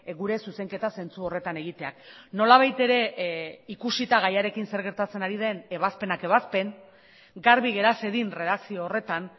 gure zuzenketa zentzu horretan egiteak nolabait ere ikusita gaiarekin zer gertatzen ari den ebazpenak ebazpen garbi gera zedin erredakzio horretan